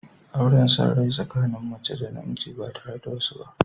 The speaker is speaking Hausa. Auren son rai tsakanin mace da namiji ba tare da wasu ba.